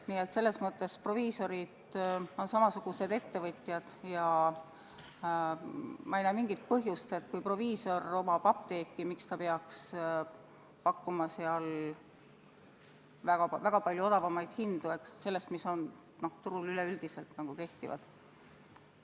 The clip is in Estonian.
Nii et selles mõttes on proviisorid samasugused ettevõtjad ja ma ei näe mingit põhjust, et kui proviisor omab apteeki, miks ta peaks pakkuma seal väga palju odavamaid hindu nendest, mis turul üleüldiselt kehtivad.